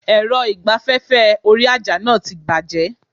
Èrọ ìgbaféfé orí àjà náà ti bàjé